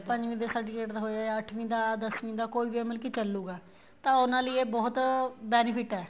ਪੰਜਵੀਂ ਦੇ certificate ਹੋਏ ਅੱਠਵੀ ਦਾ ਦਸਵੀਂ ਦਾ ਕੋਈ ਵੀ ਮਤਲਬ ਕੀ ਚੱਲੂਗਾ ਤਾਂ ਉਹਨਾ ਲਈ ਇਹ ਬਹੁਤ benefit ਏ